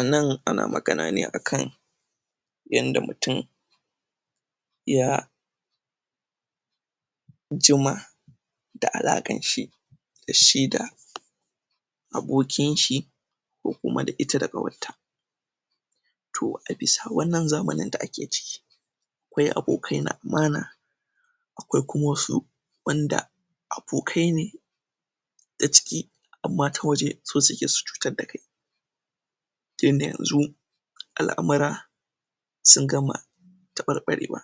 A nan ana magana ne a kan yanda mutum ya jima da alaƙan shi da shi da abokin shi ko kuma da ita da ƙawarta To a bisa wannan zamanin da ake ciki akwai abokai na amana akwai kuma wasu wand abokai ne ta ciki amma ta waje so suke su cutar da kai tunda yanzu al'amura sun gama taɓarɓarewa.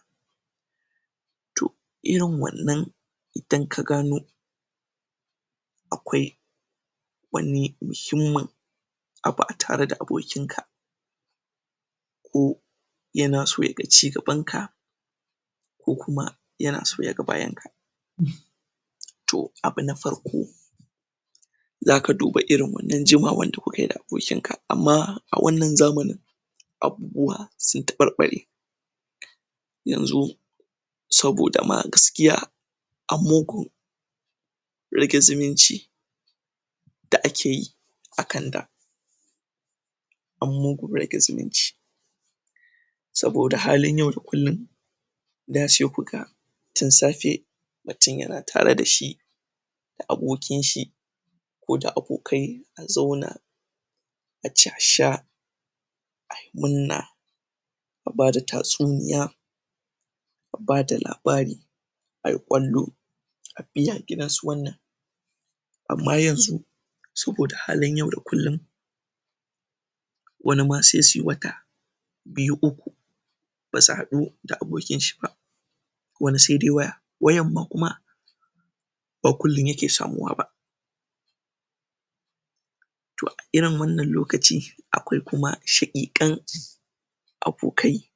To, irin wannan idan ka gano akwai wani muhimmin abu a tare da bokinka ko yana so ya ga cigabanka ko kuma yana so ya ga bayanka To, abu na farko, za ka duba irin wannan jimawar da kuka yi da abokinka, amma a wannan zamanin abubuwa sun taɓarɓare yanzu saboda ma gaskiya an mugun rage zumunci da ake yi a kan da an mugun rage zumunci saboda halin yau da kullum da sai ku ga tun safe mutum yana tare da shi abokin shi ko da abokai a zauna a ci a sha a yi murna da ba da tatsuniya da ba da labari, a yi ƙwallo a biya gidan su wannan amma yanzu saboda halin yau wani ma sai su yi wata biyu, uku ba su haɗu da abokin shi ba wani sai dai waya. Wayar ma kuma ba kullum yake samuwa ba. To, a irin wannan lokaci akwai kuma shaƙiƙan abokai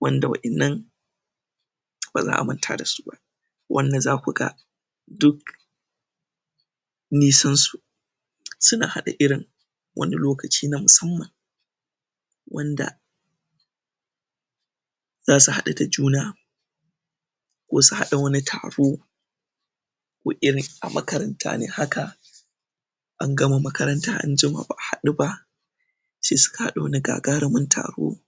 wanda wa'innan ba za a manta da su ba wanda za ku ga duk nisansu suna haɗa irin wani lokaci na musamman wanda za su haɗu da juna ko su haɗa wani taro ko irin a makaranta ne haka an gama makaranta an jima ba a haɗu ba sai suka haɗa wani gagarumin taro.